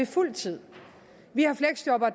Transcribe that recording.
fuld tid vi